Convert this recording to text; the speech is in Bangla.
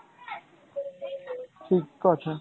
ঠিক আছে।